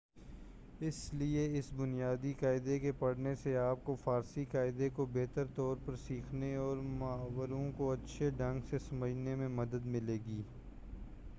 اس لئے اس بنیادی قاعدہ کے پڑھنے سے آپ کو فارسی قاعدہ کو بہتر طور پرسیکھنے اور محاوروں کو اچھے ڈھنگ سے سمجھنے میں مدد ملے گی